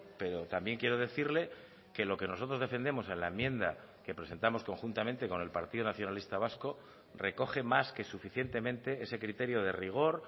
pero también quiero decirle que lo que nosotros defendemos en la enmienda que presentamos conjuntamente con el partido nacionalista vasco recoge más que suficientemente ese criterio de rigor